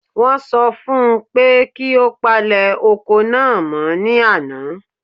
Wọ́n sọ fún un pé kí ó palẹ̀ oko náà mọ́ ní àná.